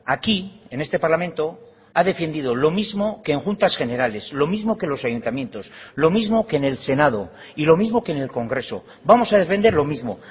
aquí en este parlamento ha defendido lo mismo que en juntas generales lo mismo que los ayuntamientos lo mismo que en el senado y lo mismo que en el congreso vamos a defender lo mismo